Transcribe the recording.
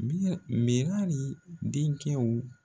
Miyɛ minari denkɛw